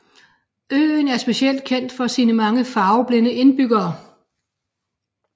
Øen er specielt kendt for sine mange farveblinde indbyggere